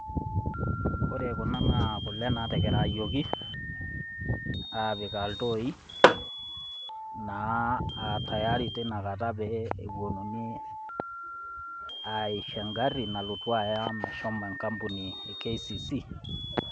Ore kuna naa kule natekerayioki, apikaa iltoi naa tayari tenekata pee ewuonuni aisho engari nalotu aya KCC.